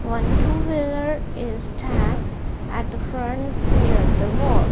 one two wheeler is stand at the front near the wall.